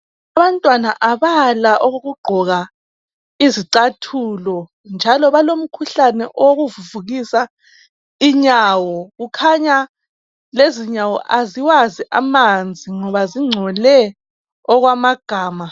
Abantwana abala okokugqoka izicathulo njalo balomkhuhlane okuvuvukisa inyawo kukhanya lezi inyawo aziwazi amanzi ngoba zingcole okwamagama.